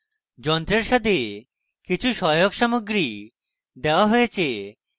যন্ত্রের সাথে কিছু সহায়ক সামগ্রী দেওয়া হয়েছে